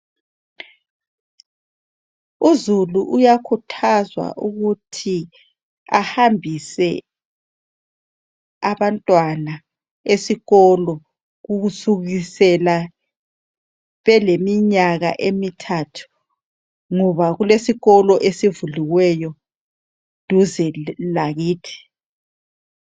uzulu uyakhuthazwa ukuthi ahambise abantwana esikolo kusukusela beleminyaka emithathu ngoba kulesikolo esivuliweyo duze lakithi